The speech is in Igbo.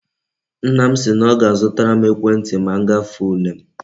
Nna m si na o ga azutaram ekwe nti ma ngafe ule m